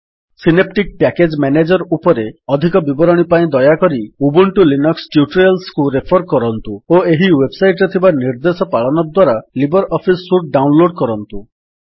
synaptic package manager ଉପରେ ଅଧିକ ବିବରଣୀ ପାଇଁ ଦୟାକରି ଉବୁଣ୍ଟୁ ଲିନକ୍ସ ଟ୍ୟୁଟୋରିଆଲ୍ସକୁ ରେଫର୍ କରନ୍ତୁ ଓ ଏହି ୱେବସାଇଟ୍ ରେ ଥିବା ନିର୍ଦ୍ଦେଶ ପାଳନ ଦ୍ୱାରା ଲିବର୍ ଅଫିସ୍ ସୁଟ୍ ଡାଉନଲୋଡ୍ କରନ୍ତୁ